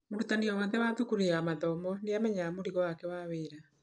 "Mũrutani o wothe wa thukuru ya mathomo nĩ amenyaga mũrigo wake wa wĩra.